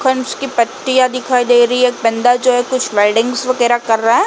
की पट्टियां दिखाई दे रही है। एक बंदा जो है कुछ वेल्डिंग्स वगैरा कर रहा है।